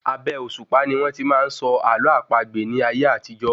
Abẹ́ òṣùpá ni wón tí máa n sọ àlọ́ àpagbè ní ayé àtijó